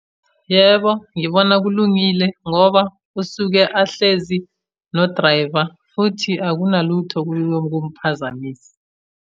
Yebo, ngibona kulungile ngoba usuke ahlezi no-driver, futhi akunalutho okuyokumphazamisa.